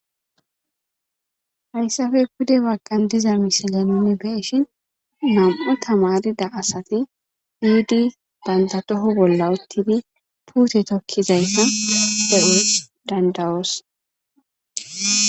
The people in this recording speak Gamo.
hayssafe kude wagqan diza mishile nuni beeshin nam7o tamarida asati diuddi bantatoho bolla uttidi puute tokkizayta pehuus dandawos